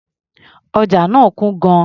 Ọjà náà kún gan-an.